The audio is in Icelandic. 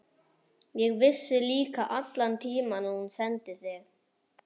Ég vissi líka allan tímann að hún sendi þig.